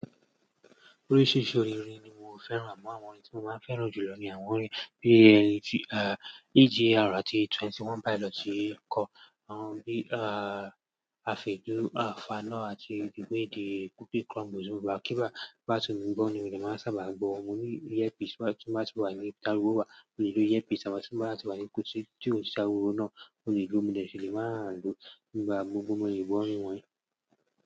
Oríṣiríṣi orin ni mo fẹ́ràn àmọ́ àwọn orin tí mo máa ń fẹ́ràn jù lọ ni àwọn orin bí EG, eh, EGR àti Twenty One Pilot, ti ẹ̀kọ́, àwọn bí, ah, Afẹ́dúà, Afáànà àti The Way They Cookie Crumbs. Mo gbà kí bá, bá ti wù mí bọ́ ni mo lè máa sábà gbọ́. Mo ní ear piece tí máa ti wà ní ká wò wà, mo lè lo ear piece àmọ́ tí bá wáa ti wà ní kù tí ó sì ariwò náà, mo lè gbọ́, mo dè ṣi lé máa lo nígbà gbogbo mo lè gbọ́ àwọn orin wọ́nyẹn.